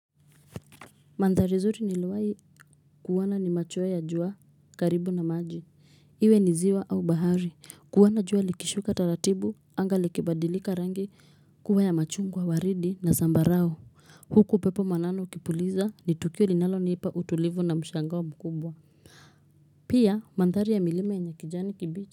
Mandhari nzuri niliyowahi kuona ni machweyo ya jua karibu na maji Iwe ni ziwa au bahari kuona jua likishuka taratibu anga likibadilika rangi kuwa ya machungwa, waridi na zambarao. Huku pepo mwanana ukipuliza, ni tukio linalonipa utulivu na mshangao mkubwa Pia, mandhari ya milima yenye kijani kibichi.